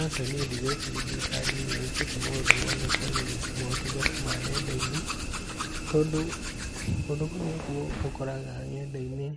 Aca niĩ ndigũĩciria thirikari nĩ ĩkĩte maũndũ mothe kũagĩrithia motungata ma nenda-inĩ, tondũ ũndũ ũyũ nĩguo ũkoraga nenda-inĩ,